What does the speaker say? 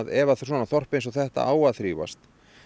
ef þorp eins og þetta á að þrífast